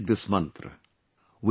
Never forget this mantra